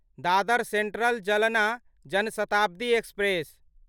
Dadar central Jalna Jan Shatabdi express